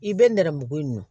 I bɛ nɛrɛmugu in